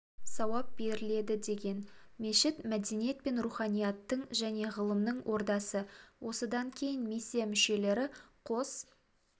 сауап беріледі деген мешіт мәдениет пен руханияттың және ғылымның ордасы осыдан кейін миссия мүшелері қос